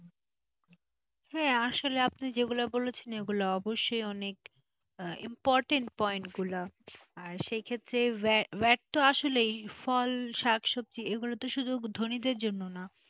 হ্যাঁ আসলে আপনি যেগুলো বলেছিলেন ওগুলা অবশ্যই অনেক important point গুলা আর সেক্ষেত্রে vatvat তো আসলেই ফল শাকসবজি এগুলো তো শুধু ধনীদের জন্য না,